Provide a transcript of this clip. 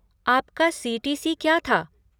आपका सी.टी.सी. क्या था?